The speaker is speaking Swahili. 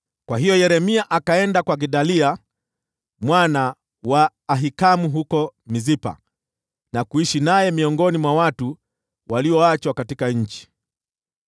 Kwa hiyo Yeremia akaenda kwa Gedalia mwana wa Ahikamu huko Mispa, na kuishi naye miongoni mwa watu walioachwa katika nchi.